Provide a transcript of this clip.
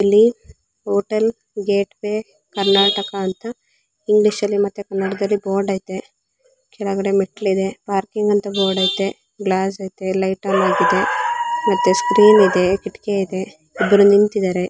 ಇಲ್ಲಿ hotel Gateway Karnataka ಅಂತ English ಅಲ್ಲಿ ಮತ್ತೆ ಕನ್ನಡಲ್ಲಿ ಬೋರ್ಡ್ ಐತೆ ಕೆಳಗಡೆ ಮೆಟ್ಟಲಿದೆ ಪಾರ್ಕಿಂಗ್ ಅಂತ ಬೋರ್ಡ್ ಐತೆ ಗ್ಲಾಸ್ ಐತೆ ಲೈಟ್ ಆನ್ ಆಗಿದೆ ಮತ್ತೆ ಸ್ಕ್ರೀನ್ ಇದೆ ಕಿಟಕಿ ಇದೆ ಇಬ್ರು ನಿಂತಿದಾರೆ.